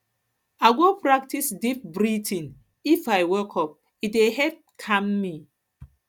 i go practice deep breathing if i wake up e dey help calm me